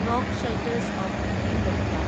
rock shelters of Bhimbetka